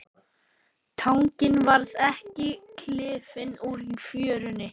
Tanginn varð ekki klifinn úr fjörunni.